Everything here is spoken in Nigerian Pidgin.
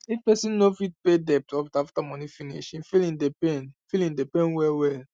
if person not fit pay debt off after money finish e feeling dey pain feeling dey pain well well